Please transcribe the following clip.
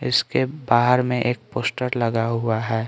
इसके बाहर में एक पोस्टर लगा हुआ है।